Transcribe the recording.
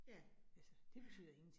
Ja, ja